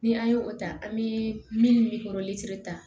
Ni an ye o ta an bɛ minnu ta